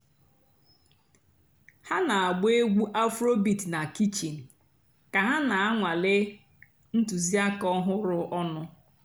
há nà-àgbà ègwú afróbeat nà kichín kà há nà-ànwálé ǹtụ́zìàkà ọ̀hụ́rụ́ ọnụ́.